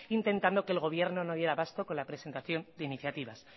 intentando que el gobierno no diera a basto con la presentación de iniciativas